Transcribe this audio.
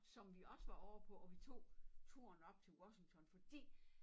Som vi også var ovre på og vi tog turen op til Washington fordi